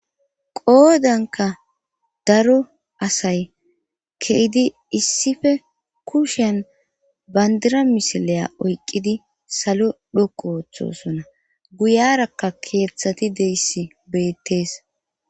qoodankka daro asay ke'idi issippe kushshen bandira misileya oyqqidi salo dhoqqu ooththosona guyarakka keeththati diyassi beettees.